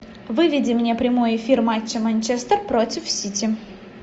выведи мне прямой эфир матча манчестер против сити